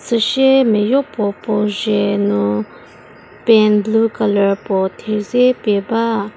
süsie mia yo puo puo dzie nu pen blue colour puo thedze pie ba.